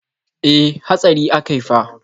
E, hatsari akai fa.